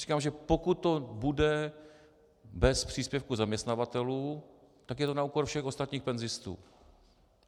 Říkám, že pokud to bude bez příspěvku zaměstnavatelů, tak je to na úkor všech ostatních penzistů.